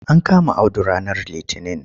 An kama Audu ranar litinin.